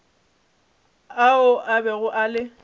ao a bego a le